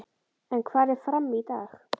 En hvar er FRAM í dag?